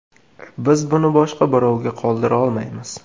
Biz buni boshqa birovga qoldira olmaymiz.